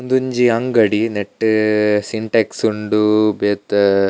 ಉಂದೊಂಜಿ ಅಂಗಡಿ ನೆಟ್ಟ್ ಸಿಂಟೇಕ್ಸ್ ಉಂಡು ಬೇತೆ.